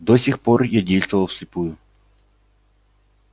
до сих пор я действовал вслепую